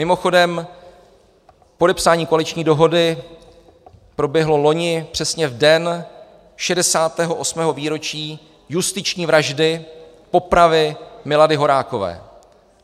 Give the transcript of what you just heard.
Mimochodem, podepsání koaliční dohody proběhlo loni přesně v den 68. výročí justiční vraždy, popravy Milady Horákové.